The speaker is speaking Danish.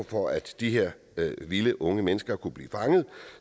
for at de her vilde unge mennesker kunne blive fanget